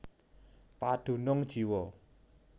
Padunung jiwa